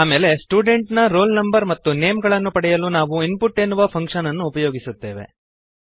ಆಮೇಲೆ ಸ್ಟೂಡೆಂಟ್ ನ roll no ಮತ್ತು ನೇಮ್ ಗಳನ್ನು ಪಡೆಯಲು ನಾವು ಇನ್ಪುಟ್ ಎನ್ನುವ ಫಂಕ್ಶನ್ ಅನ್ನು ಉಪಯೋಗಿಸುತ್ತೇವೆ